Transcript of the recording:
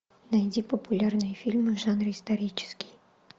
найди популярные фильмы в жанре исторический